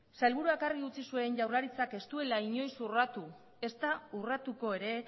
sailburuak argi utzi zuen jaurlaritzak ez duela inoiz urratu ezta urratuko ere